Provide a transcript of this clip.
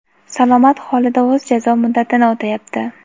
salomat holida o‘z jazo muddatini o‘tayapti.